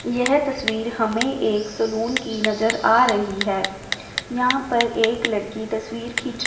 यह तस्वीर हमें एक सलून की नजर आ रहीं हैं यहाँ पर एक लड़की तस्वीर खीच--